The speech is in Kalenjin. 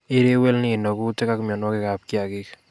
Ireu EL Nino kuutik ak mienwokikab kiagik